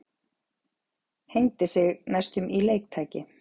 Hengdi sig næstum í leiktæki